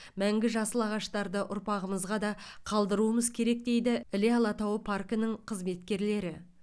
мәңгі жасыл ағаштарды ұрпағымызға да қалдыруымыз керек дейді іле алатауы паркінің қызметкерлері